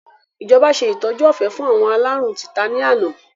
Ìjọba ṣe ìtọ́jú ọ̀fẹ́ fún àwọn aláárùn títa ni àná